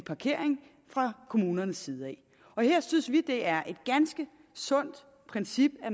parkering fra kommunernes side her synes vi det er et ganske sundt princip at